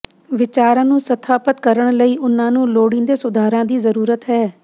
ਵਿਚਾਰਾਂ ਨੂੰ ਸਥਾਪਤ ਕਰਨ ਲਈ ਉਨ੍ਹਾਂ ਨੂੰ ਲੋੜੀਂਦੇ ਸੁਧਾਰਾਂ ਦੀ ਜ਼ਰੂਰਤ ਹੈ